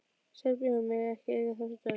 Serbarnir mega ekki eiga þessa dögg!